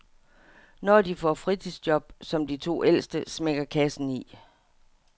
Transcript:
Når de får fritidsjob, som de to ældste, smækker kassen i.